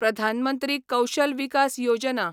प्रधान मंत्री कौशल विकास योजना